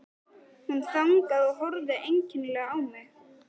Hún þagnaði og horfði einkennilega á mig.